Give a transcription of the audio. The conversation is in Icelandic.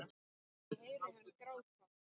Ég heyri hann gráta.